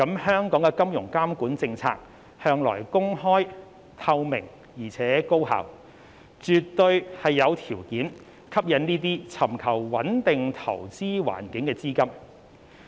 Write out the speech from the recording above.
香港的金融監管政策向來公開、透明，而且高效，絕對有條件吸引這些尋求穩定投資環境的資金。